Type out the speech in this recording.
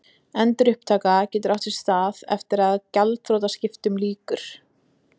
Endurupptaka getur átt sér stað eftir að gjaldþrotaskiptum lýkur.